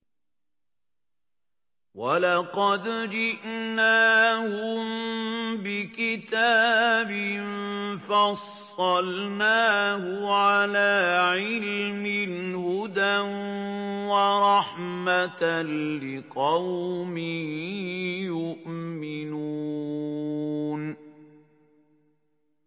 وَلَقَدْ جِئْنَاهُم بِكِتَابٍ فَصَّلْنَاهُ عَلَىٰ عِلْمٍ هُدًى وَرَحْمَةً لِّقَوْمٍ يُؤْمِنُونَ